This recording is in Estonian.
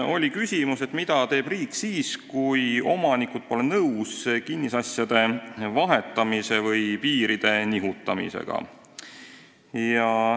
Oli küsimus, mida teeb riik siis, kui omanikud pole nõus kinnisasja vahetamise või piiri nihutamisega.